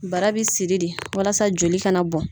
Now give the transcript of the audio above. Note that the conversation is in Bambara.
Bara bɛ siri di walasa joli kana na bɔn.